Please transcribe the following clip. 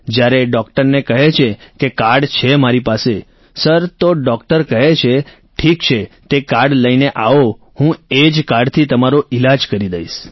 જ્યારે ડોક્ટરને કહે છે કે કાર્ડ છે મારી પાસે સર તો ડોક્ટર કહે છે ઠીક છે તે કાર્ડ લઈને આવો હું એ જ કાર્ડથી તમારો ઈલાજ કરી દઈશ